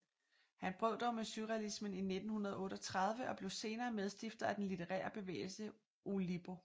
Han brød dog med surrealismen i 1938 og blev senere medstifter af den litterære bevægelse Oulipo